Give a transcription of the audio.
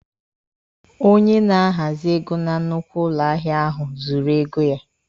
Onye na-ahazị ego na nnukwu ụlọ ahịa ahụ zụrụ ego ya.